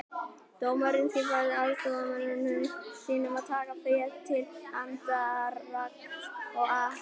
Dómarinn skipaði aðstoðarmönnum sínum að taka féð til handargagns og afhenda